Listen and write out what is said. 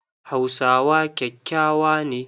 Hausawa kyakyawa ne.